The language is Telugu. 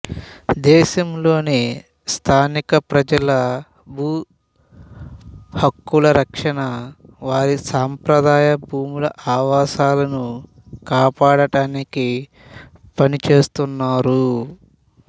దేశంలోని స్థానిక ప్రజలు భూ హక్కులరక్షణ వారి సాంప్రదాయ భూములు ఆవాసాలను కాపాడటానికి పనిచేస్తున్నారు